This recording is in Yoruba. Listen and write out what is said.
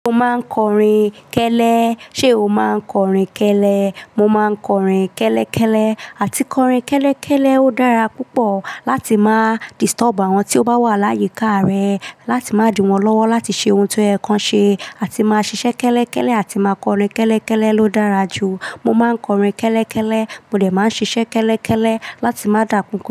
Mo máa ń kọrin kẹ́lẹ́. Ṣé o máa ń kọrin kẹ́lẹ́? Mo máa ń kọrin kẹ́lẹ́ kẹ́lẹ́ àti kọrin kẹ́lẹ́ kẹ́lẹ́ ó dára púpọ̀ láti máa disturb àwọn tí ó bá wà láyìíká rẹ, láti máa diwọ́n lọ́wọ́ láti ṣe ohun tó ẹ̀ kan ṣe. Àti máa ṣiṣẹ́ kẹ́lẹ́ kẹ́lẹ́ àti máa kọrin kẹ́lẹ́ kẹ́lẹ́ ló dára jù. Mo máa ń kọrin kẹ́lẹ́ kẹ́lẹ́, mo dẹ̀ máa ń ṣiṣẹ́ kẹ́lẹ́ kẹ́lẹ́ láti má dà pọ̀npọ̀.